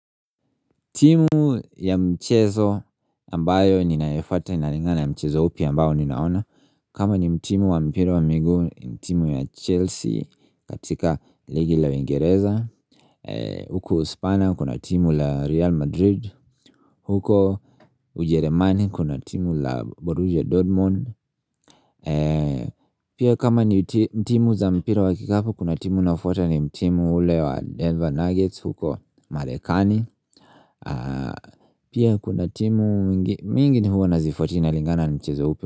Timu ya mchezo ambayo ninayoifata inaringana ni mchezo upi ambayo ninaona. Kama ni timu wa mpira wa miguu. Ni timu ya Chelsea, katika ligi la Wingereza. Huku uspaña kuna timu la Real Madrid. Huko ujerumani, kuna timu la Borussia Dortmund. Pia kama ni timu za mpira wa kikapu, kuna timu nafuata ni timu ile ya Denver Nuggets, huko Marekani.Pia kuna timu mingi huwa nazifuata inalingana nchezo upi.